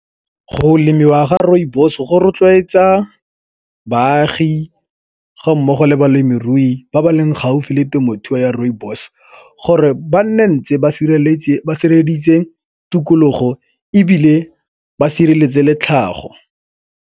Go lemiwa ga rooibos go rotloetsa baagi ga mmogo le balemirui ba ba leng gaufi le temothuo ya rooibos gore ba nne ntse ba sireleditse tikologo ebile ba sireletse le tlhago.